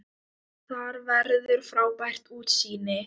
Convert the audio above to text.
Þar verður frábært útsýni.